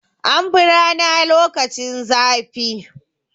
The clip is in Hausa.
An fi rana lokaci zafi.